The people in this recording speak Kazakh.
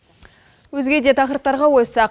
өзгеде тақырыптарға ойыссақ